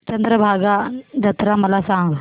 चंद्रभागा जत्रा मला सांग